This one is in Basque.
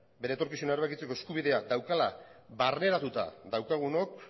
bere etorkizuna erabakitzeko eskubidea daukala barneratuta daukagunok